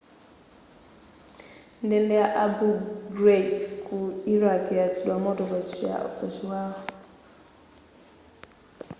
ndende ya abu ghraib ku iraq yayatsidwa moto pa chiwawa